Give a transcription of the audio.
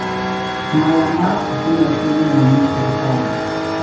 Mayamat stimeet nenyonei sipitali